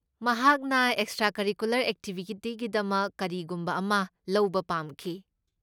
ꯃꯍꯥꯛꯅ extra curricular ꯑꯦꯛꯇꯤꯚꯤꯇꯤꯒꯤꯗꯃꯛ ꯀꯔꯤꯒꯨꯝꯕ ꯑꯃ ꯂꯧꯕ ꯄꯥꯝꯈꯤ꯫